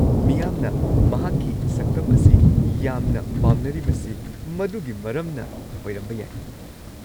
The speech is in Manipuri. ꯃꯤꯌꯥꯝꯅ ꯃꯍꯥꯛꯀꯤ ꯁꯛꯇꯝ ꯑꯁꯤ ꯌꯥꯝꯅ ꯄꯥꯝꯅꯔꯤꯕꯁꯤ ꯃꯗꯨꯒꯤ ꯃꯔꯝꯅ ꯑꯣꯏꯔꯝꯕ ꯌꯥꯏ꯫